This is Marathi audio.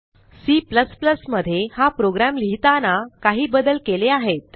C मध्ये हा प्रोग्रॅम लिहिताना काही बदल केले आहेत